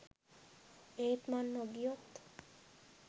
ඒත් මං නොගියොත්